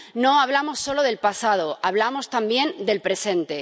No hablamos solo del pasado, hablamos también del presente.